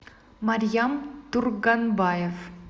марьям турганбаев